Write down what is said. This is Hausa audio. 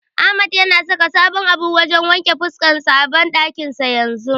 Ahmad yana saka sabon abun wajen wanke fuska a banɗakin sa yanzu.